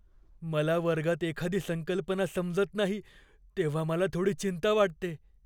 मला वर्गात एखादी संकल्पना समजत नाही तेव्हा मला थोडी चिंता वाटते.